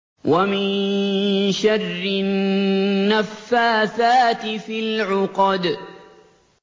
وَمِن شَرِّ النَّفَّاثَاتِ فِي الْعُقَدِ